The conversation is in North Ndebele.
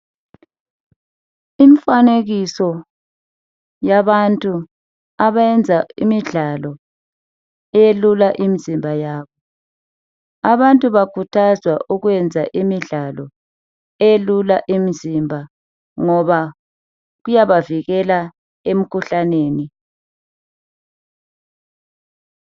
Imfanekiso yabantu abenza imidlalo elula imizimba yabo. Abantu bakhuthazwa ukwenza imidlalo elula imizimba, ngoba kuyabavikela emkhuhlaneni.